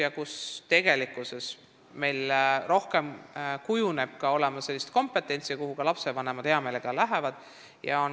Nendes koolides tekib rohkem kompetentsust ja ka lapsevanemad panevad heameelega sinna oma lapsi.